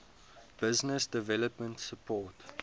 business development support